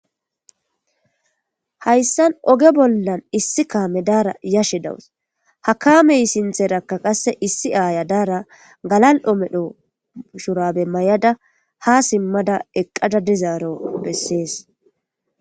hayssan oge bollan issi kaame daara yashe dawus hakaamey sintherakka qasse issi aaya daara galal7omedho shurabe may7ada ha simmada eqqada dizaaro bessees